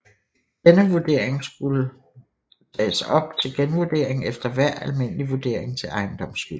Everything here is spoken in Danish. Denne vurdering skulle tages op til genvurdering efter hver almindelig vurdering til ejendomsskyld